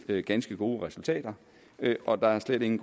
ganske gode resultater og der er slet ikke